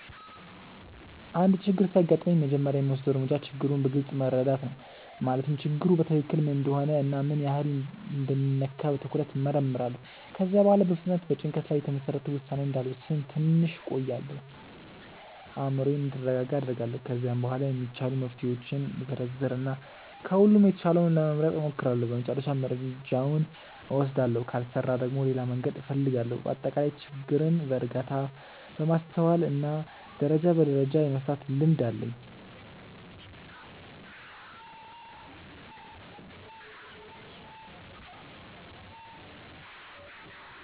አንድ ችግር ሲያጋጥመኝ መጀመሪያ የምወስደው እርምጃ ችግሩን በግልጽ መረዳት ነው። ማለትም ችግሩ በትክክል ምን እንደሆነ እና ምን ያህል እንደሚነካ በትኩረት እመርምራለሁ። ከዚያ በኋላ በፍጥነት በጭንቀት ላይ የተመሰረተ ውሳኔ እንዳልወስን ትንሽ እቆያለሁ፤ አእምሮዬም እንዲረጋጋ አደርጋለሁ። ከዚያ በኋላ የሚቻሉ መፍትሄዎችን እዘረዝር እና ከሁሉም የተሻለውን ለመምረጥ እሞክራለሁ በመጨረሻም እርምጃውን እወስዳለሁ። ካልሰራ ደግሞ ሌላ መንገድ እፈልጋለሁ። በአጠቃላይ ችግርን በእርጋታ፣ በማስተዋል እና ደረጃ በደረጃ የመፍታት ልምድ አለኝ።